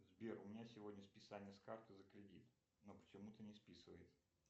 сбер у меня сегодня списание карты за кредит но почему то не списывается